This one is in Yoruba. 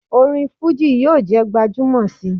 Orin fuji yoo je gbajumo si